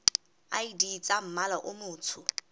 id tsa mmala o motsho